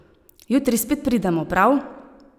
Jutri spet pridemo, prav?